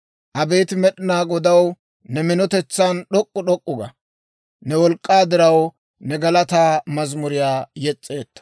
Abeet Med'inaa Godaw, ne minotetsan d'ok'k'u d'ok'k'u ga; ne wolk'k'aa diraw new galataa mazimuriyaa yes's'eetto.